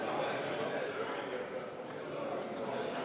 Martin Helme, palun!